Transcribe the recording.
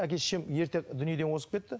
әке шешем ерте дүниеден озып кетті